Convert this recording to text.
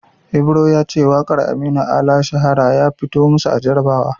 Ibro ya ce waƙar Aminu Ala "Shahara" ya fito masu a jarabawa.